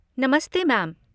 नमस्ते मैम।